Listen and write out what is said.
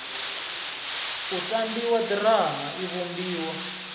u tambiwa ḓirama i vhumbiwa